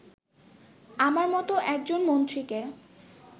আমার মতো একজন মন্ত্রীকে